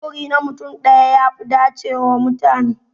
Sufuri na mutum daya ya fi dace wa mutane.